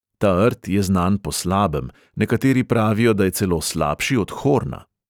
Ta rt je znan po slabem, nekateri pravijo, da je celo slabši od horna.